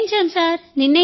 నిర్ణయించాం sir